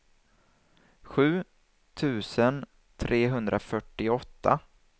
sju tusen trehundrafyrtioåtta